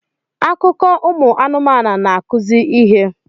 Akụkọ ụmụ anụmanụ na-akụzi ihe